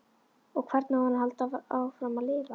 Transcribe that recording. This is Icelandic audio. Og hvernig á hann að halda áfram að lifa?